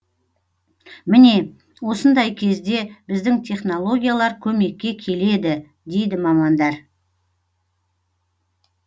міне осындай кезде біздің технологиялар көмекке келеді дейді мамандар